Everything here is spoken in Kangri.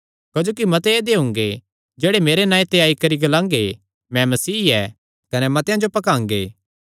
क्जोकि मत्ते ऐदेय हुंगे जेह्ड़े मेरे नांऐ ते आई करी ग्लांगे मैं मसीह ऐ कने मतेआं जो भकांगे